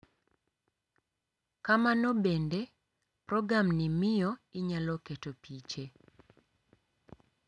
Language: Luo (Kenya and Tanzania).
Kamano bende, programni miyo inyalo keto piche .